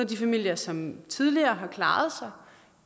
de familier som tidligere har klaret sig